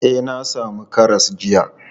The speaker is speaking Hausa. E, na sami karas jiya.